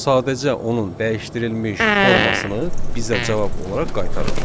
Sadəcə onun dəyişdirilmiş formasını bizə cavab olaraq qaytarır.